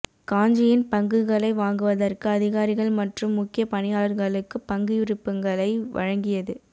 காஞ்சி Inc பங்குகளை வாங்குவதற்கு அதிகாரிகள் மற்றும் முக்கிய பணியாளர்களுக்கு பங்கு விருப்பங்களை வழங்கியது